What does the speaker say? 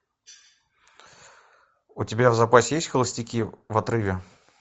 у тебя в запасе есть холостяки в отрыве